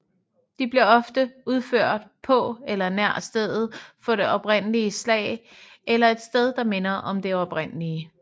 De bliver ofte udført på eller nær stedet for det oprindelige slag eller et sted der minder om det oprindelige